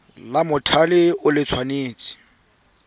la mothale o le tshwanetse